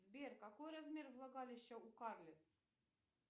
сбер какой размер влагалища у карлиц